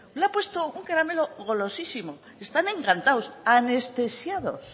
le ha puesto un caramelo golosísimo están encantados anestesiados